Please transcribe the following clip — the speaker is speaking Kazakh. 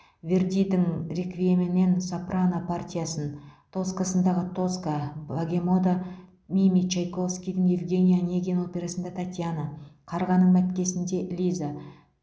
вердидің реквиемінен сопрано партиясын тоскасындағы тоска богемада мими чайковскийдің евгений онегин операсында татьяна қарғаның мәткесінде лиза